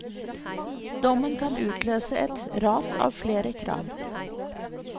Dommen kan utløse et ras av flere krav.